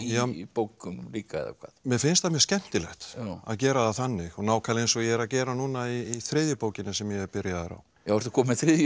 í bókum líka mér finnst það mjög skemmtilegt að gera það þannig nákvæmlega eins og ég er að gera núna í þriðju bókinni sem ég er byrjaður á ertu kominn með þriðju í